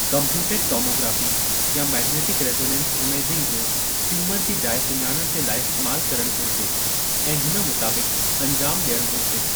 Computed tomography या magnetic resonance imaging जो tumour जी जाइ सुञाणण जे लाइ इस्तैमालु करणु घुरिजे ऐं हुन मुताबिक़ु अंजामु डि॒यणु घुरिजे।